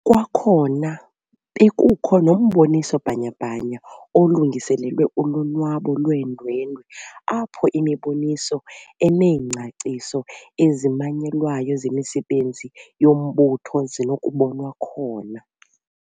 Kwakhona bekukho nomboniso bhanya-bhanya olungiselelwe ulonwabo lweendwendwe apho imiboniso eneengcaciso ezimanyelwayo zemisebenzi yombutho zinokubonwa khona.